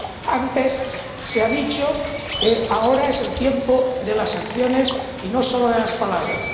Antes se ha dicho que ahora es el tiempo de las sanciones y no solo de las palabras